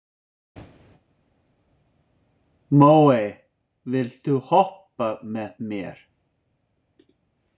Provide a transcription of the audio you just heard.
Móey, viltu hoppa með mér?